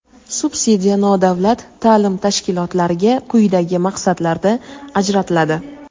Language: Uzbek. Subsidiya nodavlat ta’lim tashkilotlariga quyidagi maqsadlarda ajratiladi:.